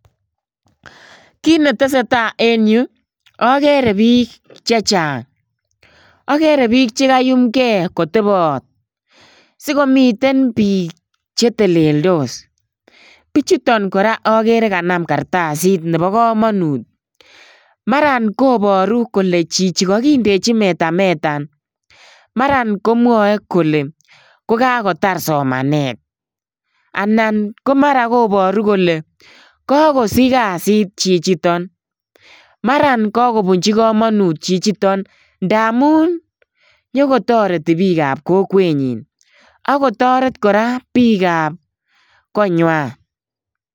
Kiy netesetai en yu, akere biik chechang. Akere biik chekaiumkey kotebot. Sikomiten biik che teleldos. Bichuton kora akere kanam kartasit nebo komonut. Mara koboru kole chichi kakindechi metametan, mara komwae kole kokakotar somanet. Anan ko mara koboru kole, kakosich kasit chichiton. Mara kakobunchin komonut chichiton, ndaamun nyikotoreti biikap kokwet nyin. Akotoret koraa biikap koinywan.